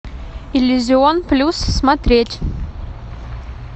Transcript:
иллюзион плюс смотреть